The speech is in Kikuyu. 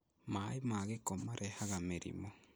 maaĩ ma gĩko marehaga mĩrimũ